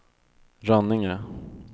Rönninge